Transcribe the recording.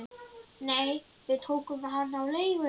Nei, við tókum hann á leigu